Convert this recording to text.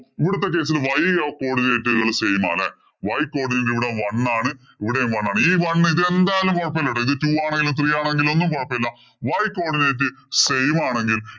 ഇവിടത്തെ case ഇല്‍ y codinate ഉകള്‍ same ആണ്. Y codinate ഇവിടെ one ആണ്. ഇവിടെയും one ആണ്. ഈ one ഇതെന്താണെങ്കിലും കുഴപ്പമില്ല കേട്ടോ. ഇത് two ആണെങ്കിലും three ആണെങ്കിലും ഒന്നും കുഴപ്പമില്ല. Y codinate same ആണെങ്കില്‍